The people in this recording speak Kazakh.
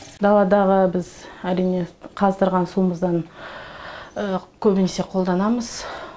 даладағы біз әрине қаздырған суымыздан көбінесе қолданамыз